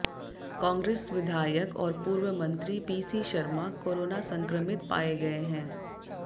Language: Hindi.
कांग्रेस विधायक और पूर्व मंत्री पीसी शर्मा कोरोना संक्रमित पाए गए हैं